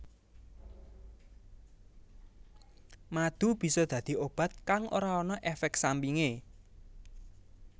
Madu bisa dadi obat kang ora ana éfék sampingé